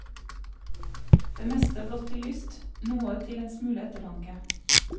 Det meste blott til lyst, noe til en smule ettertanke.